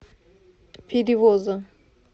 перевоза